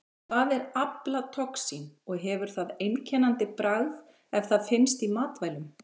Hvað er aflatoxín og hefur það einkennandi bragð ef það finnst í matvælum?